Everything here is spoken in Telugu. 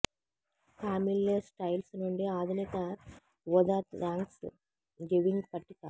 కామిల్లె స్టైల్స్ నుండి ఆధునిక ఊదా థాంక్స్ గివింగ్ పట్టిక